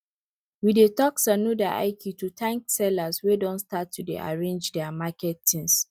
we dey talk sannu da aiki to thank sellers wey don start to arrange their market things